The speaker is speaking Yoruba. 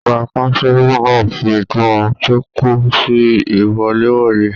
Ọgá kánsílọ̀ náà fí ìtumọ̀ tó kún sí iwọ̀lèwọ̀de.